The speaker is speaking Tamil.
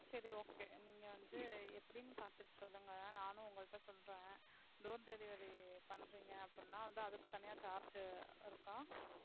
சரி okay நீங்க வந்து எப்படினு பாத்திட்டு சொல்லுங்க. நானும் உங்க கிட்ட சொல்றேன் door delivery பண்றீங்க அப்படினா அதுக்கு தனியா charge இருக்கா?